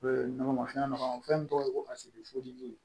nɔgɔma fɛn nɔgɔman fɛn min tɔgɔ ye ko kasi bi foli di